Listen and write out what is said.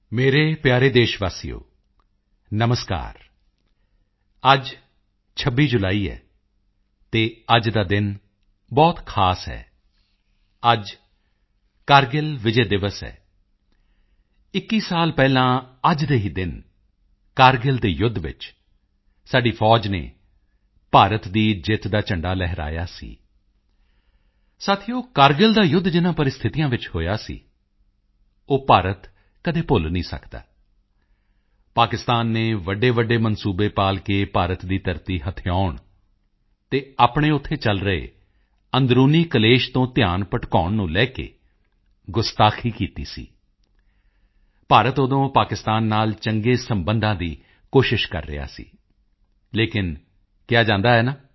ਮੇਰੇ ਪਿਆਰੇ ਦੇਸ਼ਵਾਸੀਓ ਨਮਸਕਾਰ ਅੱਜ 26 ਜੁਲਾਈ ਹੈ ਅਤੇ ਅੱਜ ਦਾ ਦਿਨ ਬਹੁਤ ਖਾਸ ਹੈ ਅੱਜ ਕਾਰਗਿਲ ਵਿਜੈ ਦਿਵਸ ਹੈ 21 ਸਾਲ ਪਹਿਲਾਂ ਅੱਜ ਦੇ ਹੀ ਦਿਨ ਕਾਰਗਿਲ ਦੇ ਯੁੱਧ ਵਿੱਚ ਸਾਡੀ ਫੌਜ ਨੇ ਭਾਰਤ ਦੀ ਜਿੱਤ ਦਾ ਝੰਡਾ ਲਹਿਰਾਇਆ ਸੀ ਸਾਥੀਓ ਕਾਰਗਿਲ ਦਾ ਯੁੱਧ ਜਿਨ੍ਹਾਂ ਪ੍ਰਸਥਿਤੀਆਂ ਵਿੱਚ ਹੋਇਆ ਸੀ ਉਹ ਭਾਰਤ ਕਦੇ ਨਹੀਂ ਭੁੱਲ ਸਕਦਾ ਪਾਕਿਸਤਾਨ ਨੇ ਵੱਡੇਵੱਡੇ ਮਨਸੂਬੇ ਪਾਲ ਕੇ ਭਾਰਤ ਦੀ ਧਰਤੀ ਹਥਿਆਉਣ ਅਤੇ ਆਪਣੇ ਉੱਥੇ ਚਲ ਰਹੇ ਅੰਦਰੂਨੀ ਕਲੇਸ਼ ਤੋਂ ਧਿਆਨ ਭਟਕਾਉਣ ਨੂੰ ਲੈ ਕੇ ਗੁਸਤਾਖ਼ੀ ਕੀਤੀ ਸੀ ਭਾਰਤ ਉਦੋਂ ਪਾਕਿਸਤਾਨ ਨਾਲ ਚੰਗੇ ਸਬੰਧਾਂ ਦੀ ਕੋਸ਼ਿਸ਼ ਕਰ ਰਿਹਾ ਸੀ ਲੇਕਿਨ ਕਿਹਾ ਜਾਂਦਾ ਹੈ ਨਾ